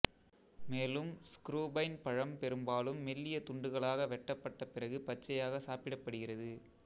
மேலும் இஸ்க்ரூபைன் பழம் பெரும்பாலும் மெல்லிய துண்டுகளாக வெட்டப்பட்ட பிறகு பச்சையாக சாப்பிடப்படுகிறது